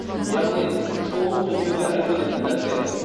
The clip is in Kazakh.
яғни шоулық дүниеге әкелетін нәрсе